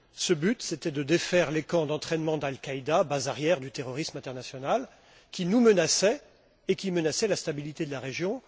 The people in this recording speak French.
Ce but, c'était de défaire les camps d'entraînement d'Al Qaïda, base arrière du terrorisme international, qui nous menaçaient et qui menaçaient la stabilité de la région.